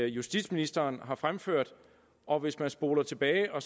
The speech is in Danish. justitsministeren har fremført og hvis man spoler tilbage og